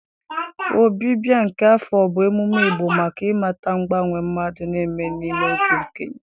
Ọbịbịa nke afọ bụ emume Igbo maka ịmata mgbanwe mmadụ na-eme n'ịbụ okenye